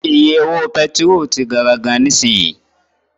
Iye owó pẹtiró ti gara gan nisinyi.